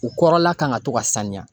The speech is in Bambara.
U kɔrɔla kan ka to ka sanuya